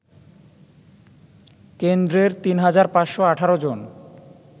কেন্দ্রের ৩৫১৮ জন